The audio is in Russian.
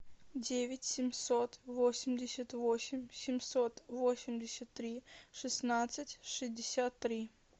девять семьсот восемьдесят восемь семьсот восемьдесят три шестнадцать шестьдесят три